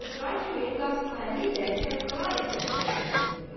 Bu oturan kimi Qasıməli ilə Kərbəlayi Səbzəli də oturdular.